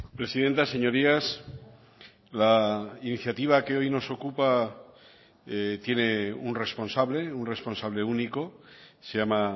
presidenta señorías la iniciativa que hoy nos ocupa tiene un responsable un responsable único se llama